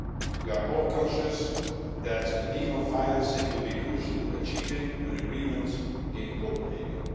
We are all conscious that a deal on financing will be crucial to achieving an agreement in Copenhagen.